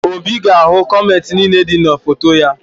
Obi ga-ahụ kọmentị niile dị na foto ya